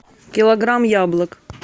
килограмм яблок